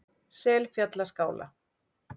Selfjallaskála